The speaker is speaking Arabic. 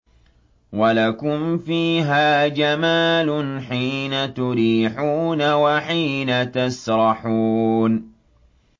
وَلَكُمْ فِيهَا جَمَالٌ حِينَ تُرِيحُونَ وَحِينَ تَسْرَحُونَ